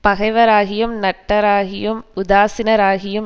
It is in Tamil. பகைவராகியும் நட்டாராகியும் உதாசீனராகியும்